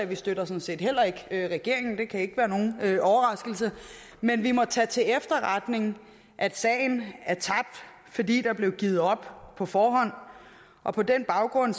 vi støtter sådan set heller ikke regeringen det kan ikke være nogen overraskelse men vi må tage til efterretning at sagen er tabt fordi der blev givet op på forhånd og på den baggrund